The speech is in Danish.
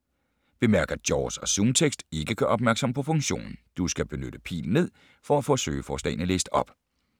Bemærk, at JAWS og ZoomText ikke gør opmærksom på funktionen. Du skal benytte pil ned, for at få søgeforslagene læst op.